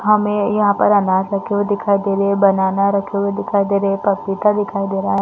हमें यहाँ पर अनार रखे हुए दिखाई दे रहे है बनाना रखे हुए दिखाई दे रहे है पपीता दिखाई दे रहा हैं ।